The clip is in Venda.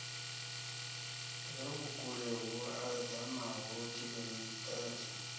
re vhukule hu edanaho kilometere